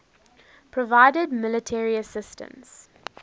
provided military assistance